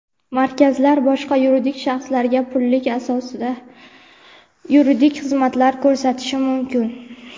Markazlar boshqa yuridik shaxslarga pullik asosda yuridik xizmatlar ko‘rsatishi mumkin.